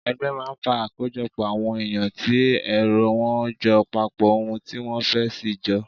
Ẹgbẹ́ máa ń fa àkójọpọ̀ àwọn èyàn tí èrò wọ́n jọ papọ̀ ohun tí wọ́n fẹ́ sì jọ.